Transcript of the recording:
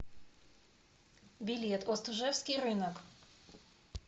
билет остужевский рынок